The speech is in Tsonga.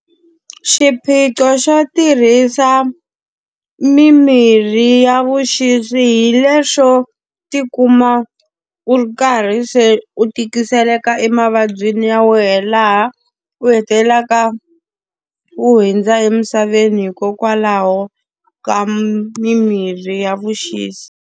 Xiphiqo xo tirhisa mimirhi ya vuxisi hi lexo ti kuma u ri karhi se u tikiseleka emavabyini ya wena laha u hetelelaka, u hundza emisaveni hikokwalaho ka mimirhi ya vuxisi.